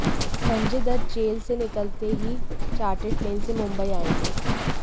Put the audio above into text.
Sanjay Dutt jail से निकलते ही चार्टर्ड प्लेन से मुंबई आएँगे